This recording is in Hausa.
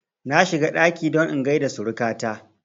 Na shiga ɗaki don in gaida suruka ta